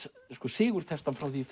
sigurtextann frá í